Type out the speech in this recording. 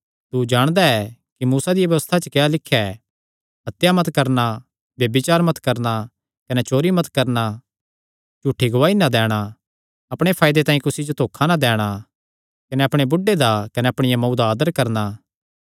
तू जाणदा ऐ कि व्यबस्था च क्या लिख्या ऐ हत्या मत करणा ब्यभिचार मत करणा कने चोरी मत करणा झूठी गवाही ना दैणा छल ना करणा कने अपणे बुढ़े दा कने अपणिया मांऊ दा आदर करणा